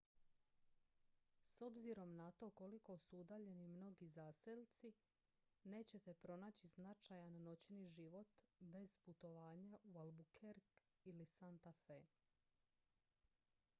s obzirom na to koliko su udaljeni mnogi zaselci nećete pronaći značajan noćni život bez putovanja u albuquerque ili santa fe